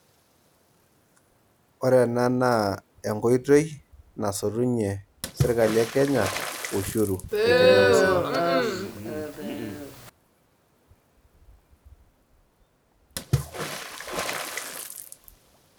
Ore ena naa enkoitoi nasotunye serkali e Kenya ushuru te Kenya mzima.